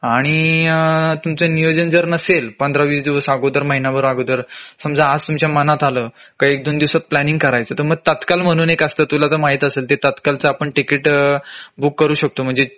आणि अ तुमच नियोजन जर नसेल पंधरा वीस दिवस अगोदर महिना भर अगोदर समाज आज तुमच्या मनात आलं का एक दोन दिवसात प्लॅनिंग करायचं तर मग तात्काळ म्हणून एक असत तुला तर माहीत असेल ते तात्काळ च आपण तिकीट बुक करू शकतो